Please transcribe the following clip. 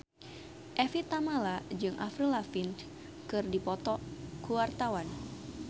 Evie Tamala jeung Avril Lavigne keur dipoto ku wartawan